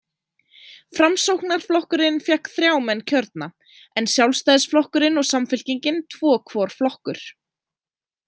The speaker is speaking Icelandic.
Framsóknarflokkurinn fékk þrjá menn kjörna, en Sjálfstæðisflokkurinn og Samfylkingin tvo hvor flokkur.